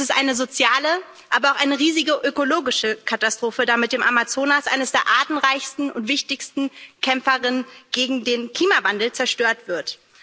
Das ist eine soziale, aber auch eine riesige ökologische Katastrophe, da mit dem Amazonas einer der artenreichsten und wichtigsten Kämpfer gegen den Klimawandel zerstört wird.